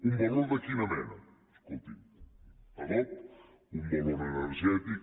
un valor de quina mena escolti’m adob un valor energètic